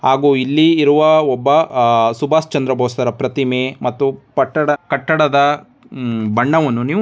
ಹಾಗು ಇಲ್ಲಿ ಇರುವ ಒಬ್ಬ ಅಹ್ ಸುಭಾಷ್ ಚಂದ್ರ್ ಬೋಸ್ ತರ ಪ್ರತಿಮೆ ಮತ್ತು ಪಟ್ಟಡ್ ಕಟ್ಟಡದ ಹೂ ಬಣ್ಣವನ್ನು ನೀವು --